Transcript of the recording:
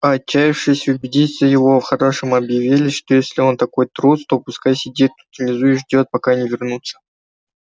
а отчаявшись убедить его по-хорошему объявили что если он такой трус то пускай сидит тут внизу и ждёт пока они вернутся